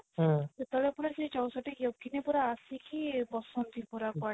ସେତେବେଳେ ପୁଣି ସେ ଚଉଷଠି ୟୋଗୀନି ପୁରା ଆସିକି ବସନ୍ତି ପୁରା କୁଆଡେ